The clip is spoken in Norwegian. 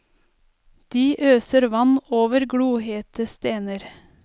De øser vann over glohete stener.